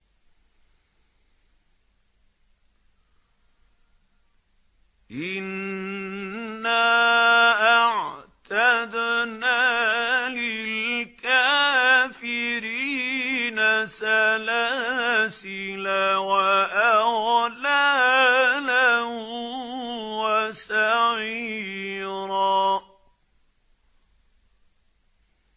إِنَّا أَعْتَدْنَا لِلْكَافِرِينَ سَلَاسِلَ وَأَغْلَالًا وَسَعِيرًا